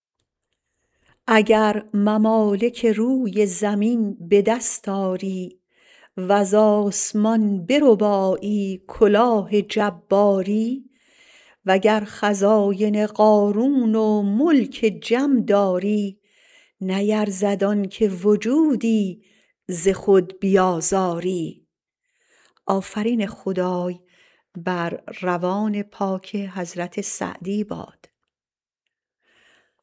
اگر ممالک روی زمین به دست آری وز آسمان بربایی کلاه جباری وگر خزاین قارون و ملک جم داری نیرزد آنکه وجودی ز خود بیازاری